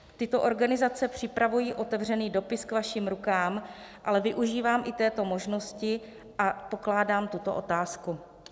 Tyto organizace připravují otevřený dopis k vašim rukám, ale využívám i této možnosti a pokládám tuto otázku.